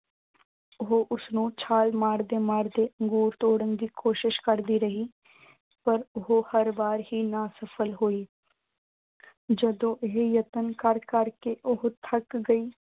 ਉਹ ਛਾਲ ਮਾਰ-ਮਾਰ ਕੇ ਅੰਗੂਰ ਤੋੜਨ ਦੀ ਕੋਸ਼ਿਸ਼ ਕਰਦੀ ਰਹੀ। ਪਰ ਉਹ ਹਰ ਵਾਰ ਹੀ ਅਸਫ਼ਲ ਹੋਈ। ਜਦੋਂ ਇਹ ਯਤਨ ਕਰ ਕਰ ਕੇ ਉਹ ਥੱਕ ਗਈ।